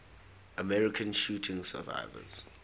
american shooting survivors